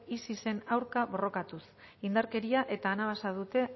isisen aurka borrokatuz indarkeria eta anabasa dute